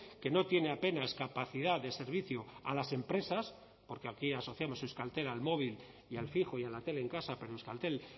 que no tiene apenas capacidad de servicio a las empresas porque aquí asociamos euskaltel al móvil y al fijo y a la tele en casa pero euskaltel